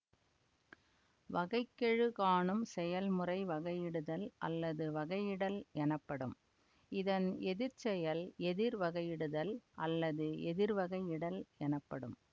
வகை கெழு காணும் செயல்முறை வகையிடுதல் அல்லது வகையிடல் எனப்படும் இதன் எதிர்ச்செயல் எதிர் வகையிடுதல் அல்லது எதிர்வகையிடல் எனப்படும்